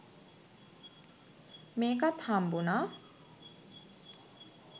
මේකත් හම්බුනා